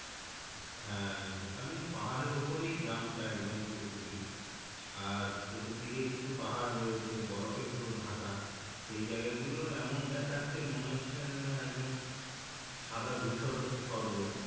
হ্যাঁ ওখানে পাহাড়ের ওপরেই গ্রাম টা একদম পুরো পুরি আর চতুর্দিকে কিছু পাহাড় রয়েছে বরফে পুরো ঢাকা সেই জায়গা গুলো এমন দেখাচ্ছে মনে হচ্ছে না একদম সাদা ধূসর স্বর্গ